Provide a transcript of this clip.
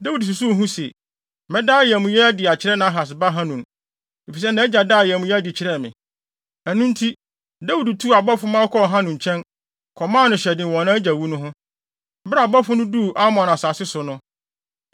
Dawid susuw ho se, “Mɛda ayamye adi akyerɛ Nahas ba Hanun, efisɛ nʼagya daa ayamye adi kyerɛɛ me.” Ɛno nti, Dawid tuu abɔfo ma wɔkɔɔ Hanun nkyɛn, kɔmaa no hyɛden wɔ nʼagya wu no ho. Bere a abɔfo no duu Amon asase so no,